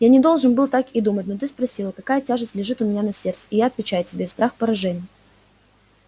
я не должен был так и думать но ты спросила какая тяжесть лежит у меня на сердце и я отвечаю тебе страх поражения